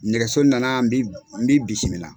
Nɛgɛso nana n b'i n b'i